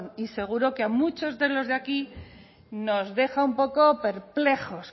y seguro que a muchos de los de aquí nos deja un poco perplejos